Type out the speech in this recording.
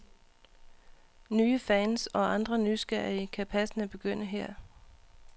Nye fans, og andre nysgerrige, kan passende begynde her.